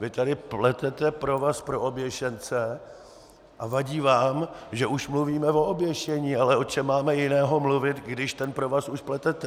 Vy tady pletete provaz pro oběšence a vadí vám, že už mluvíme o oběšení - ale o čem máme jiném mluvit, když ten provaz už pletete?